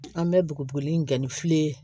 An bɛ bugubuguli in kɛ ni fili ye